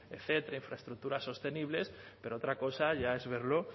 etcétera infraestructuras sostenibles pero otra cosa ya es verlo